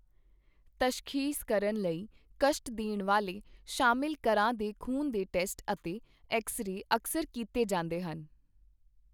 ਤਸ਼ਖ਼ੀਸ ਕਰਨ ਲਈ ਕਸ਼ਟ ਦੇਣ ਵਾਲੇ ਸ਼ਾਮਿਲ ਕਰਾਂ ਦੇ ਖ਼ੂਨ ਦੇ ਟੈਸਟ ਅਤੇ ਐਕਸ ਰੇ ਅਕਸਰ ਕੀਤੇ ਜਾਂਦੇ ਹਨ।